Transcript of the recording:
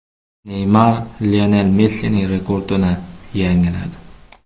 Neymar Lionel Messining rekordini yangiladi.